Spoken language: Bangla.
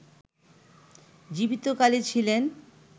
জীবিত কালে ছিলেন